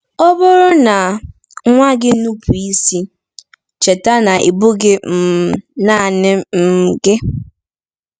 Ọ bụrụ na nwa gị nupụ isi, cheta na ị bụghị um naanị um gị.